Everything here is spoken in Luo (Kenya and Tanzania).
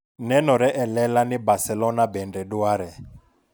Nenore e lela ni Barcelona bende dware.